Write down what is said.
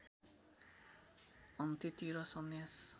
अन्त्यतिर सन्यास